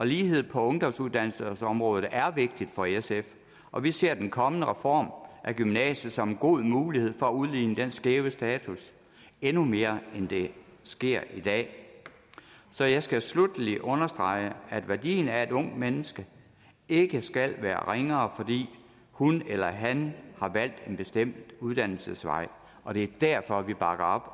lighed på ungdomsuddannelsesområdet er vigtigt for sf og vi ser den kommende reform af gymnasiet som en god mulighed for at udligne den skæve status endnu mere end det sker i dag så jeg skal sluttelig understrege at værdien af et ungt menneske ikke skal være ringere fordi hun eller han har valgt en bestemt uddannelsesvej og det er derfor vi bakker op